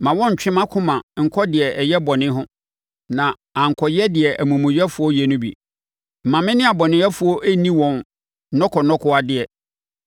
Mma wɔnntwe mʼakoma nkɔ deɛ ɛyɛ bɔne ho, na ankɔyɛ deɛ amumuyɛfoɔ yɛ no bi; mma me ne abɔnefoɔ nni wɔn nnɔkɔnnɔkɔwadeɛ.